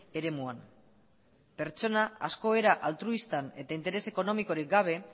eremuan pertsona asko era altruistan eta interes ekonomikorik gabe